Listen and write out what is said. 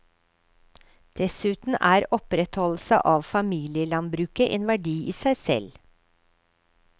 Dessuten er opprettholdelse av familielandbruket en verdi i seg selv.